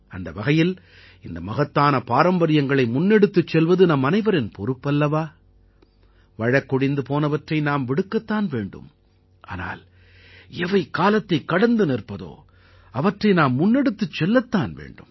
அந்த வகையில் இந்த மகத்தான பாரம்பரியங்களை முன்னெடுத்துச் செல்வது நம் அனைவரின் பொறுப்பல்லவா வழக்கொழிந்து போனவற்றை நாம் விடுக்கத்தான் வேண்டும் ஆனால் எவை காலத்தைக் கடந்து நிற்பதோ அவற்றை நாம் முன்னெடுத்துச் செல்லத்தான் வேண்டும்